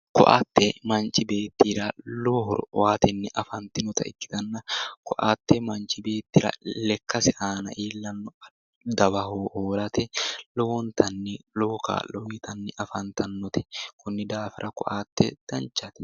Ko"atte manchi beettira lowo horo aatenni afantinota ikkitanna ko"atte manchi beettira lekkase aana iillanno dawa hoolate lowontanni lowo kaa'lo uyitanni afantannote konni daafira ko"atte danchate